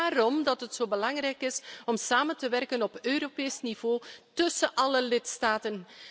Net daarom dat is het zo belangrijk om samen te werken op Europees niveau tussen alle lidstaten.